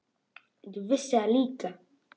Ég vissi það líka.